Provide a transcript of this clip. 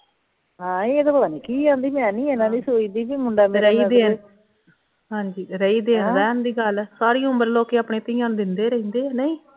ਹਾਂ ਇਹ ਤੇ ਪਤਾ ਨਹੀਂ ਕੀ ਕਹਿੰਦੀ ਮੈ ਨਹੀਂ ਐਨਾ ਵੀ ਸੋਚਦੀ ਵੀ ਮੁੰਡਾ ਮੇਰਾ ਹਾਂਜੀ ਰਹੀ ਰਹਿਣ ਦੀ ਗੱਲ ਸਾਰੀ ਉਮਰ ਲੋਕੀ ਆਪਣੀ ਧੀਆਂ ਨੂੰ ਦਿੰਦੇ ਈ ਰਹਿੰਦੇ ਏ ਕਿ ਨਹੀਂ